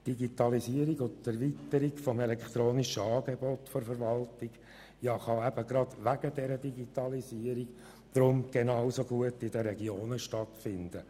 Die Digitalisierung und Erweiterung des elektronischen Angebots der Verwaltung kann gerade wegen der Digitalisierung ebenso gut in den Regionen stattfinden.